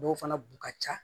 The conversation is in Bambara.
Dɔw fana b'u ka ca